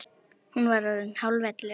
Hún var orðin hálf ellefu.